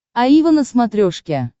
аива на смотрешке